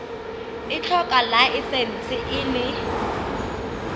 e tlhoka laesense e le